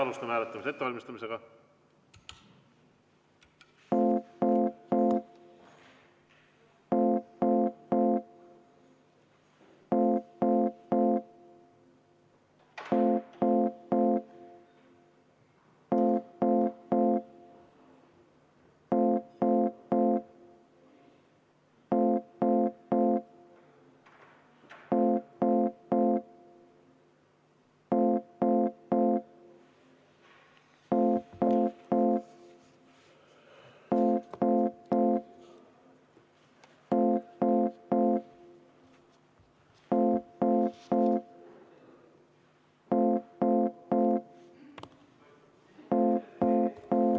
Alustame hääletamise ettevalmistamist.